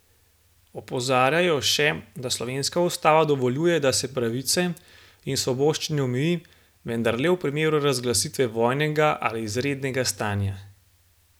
Opozarjajo še, da slovenska ustava dovoljuje, da se pravice in svoboščine omeji, vendar le v primeru razglasitve vojnega ali izrednega stanja.